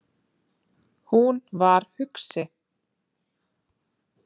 Hún var hugsi.